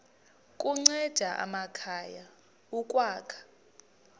kunceda amakhaya ukwakha